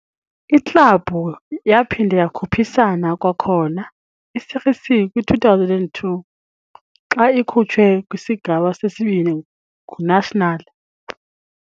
Iklabhu yaphinda yakhuphisana kwakhona i-Série C kwi-2002, xa ikhutshwe kwiSigaba seSibini nguNacional.